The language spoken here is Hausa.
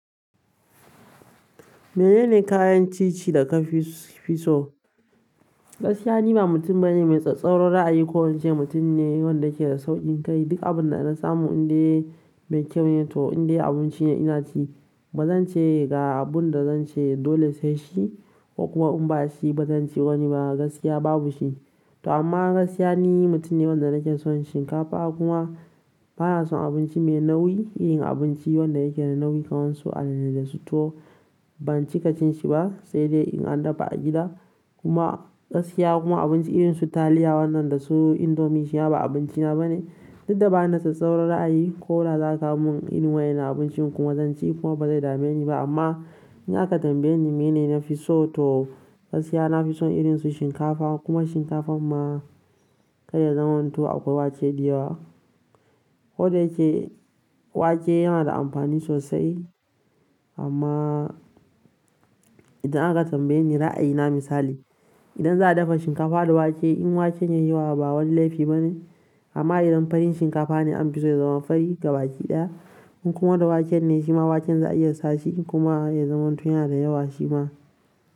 Menene kayan ci ci da ka fi so? Gaskiya ni ba mutum bane mai sassauran ra'ayi ko ince mutum ne wanda yake da saurin rai. Duka abun da na samu indai me kyau ne to indai abinci ne ina ci. Ba zan ce ga abun da zan ce dole sai shi ko kuma in ba shi ba zan ce wani ba. Gaskiya babu shi. To amma gaskiya ni mutum ne wanda nake son shinkafa kuma bana son abinci mai nauyi. Irin abinci wanda yake da nauyi kamar su alale da su tuwo, ban ci ƙa cinshi ba sai dai in an dafa a gida. Kuma gaskiya kuma abinci irin su taliya wannan da su indomie shi ma abinci na bane. Duk da ba na da tsattsauran ra'ayi ko da za ta mun iri wayena abincin kuma zan ci kuma ba zai dame ni ba. Amma in aka tambaye ni mene na fi so to gaskiya na fi son irin su shinkafa kuma shinkafan ma kai ya zaman to akwai waken diyawa. Ko da yake wake yana da amfani sosai, amma idan aka tambaye ni ra'ayi na misali idan za a dafa shinkafa da wake in waken ya yi yawa ba wani laifi bane amma idan farin shinkafa ne an fi so ya zama fari gaba ki ɗaya. In kuma da waken ne shi ma waken za a iya sashi kuma ya zaman to yana da yawa shi ma.